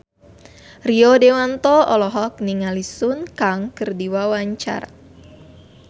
Rio Dewanto olohok ningali Sun Kang keur diwawancara